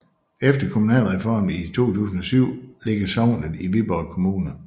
Efter kommunalreformen i 2007 ligger sognet i Viborg Kommune